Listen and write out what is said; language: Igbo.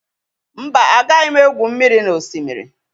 Mba, agaghị m egwu mmiri na Oshimiri.